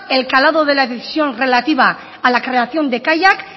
el calado de la decisión relativa a la creación de kaiak